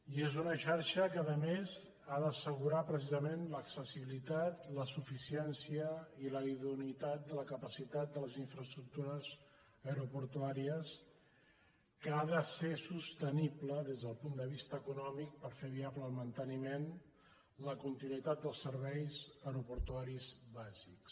i és una xarxa que a més ha d’assegurar precisament l’accessibilitat la suficiència i la idoneïtat de la capacitat de les infraestructures aeroportuàries que ha de ser sostenible des del punt de vista econòmic per fer viable el manteniment la continuïtat dels serveis aeroportuaris bàsics